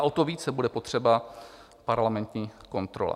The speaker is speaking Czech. A o to více bude potřeba parlamentní kontrola.